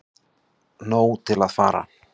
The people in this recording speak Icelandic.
Nóg til að fara